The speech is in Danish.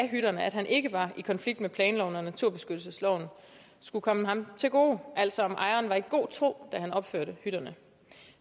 hytterne at han ikke var i konflikt med planloven og naturbeskyttelsesloven skulle komme ham til gode altså at ejeren var i god tro da han opførte hytterne